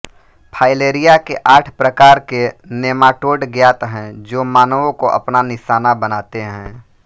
filaria के आठ प्रकार के नेमाटोड ज्ञात हैं जो मानवों को अपना निशाना बनाते हैं